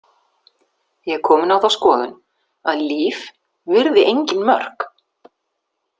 Ég er komin á þá skoðun að Líf virði engin mörk.